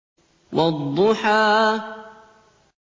وَالضُّحَىٰ